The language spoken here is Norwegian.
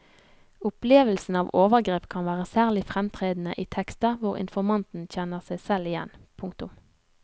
Opplevelsen av overgrep kan være særlig fremtredende i tekster hvor informanten kjenner seg selv igjen. punktum